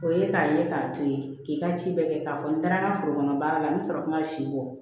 O ye k'a ye k'a to ye k'i ka ci bɛɛ kɛ k'a fɔ n taara n ka foro kɔnɔ baara la n bɛ sɔrɔ kum'a si bɔ